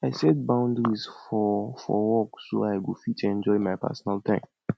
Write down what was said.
i set boundaries for for work so i go fit enjoy my personal time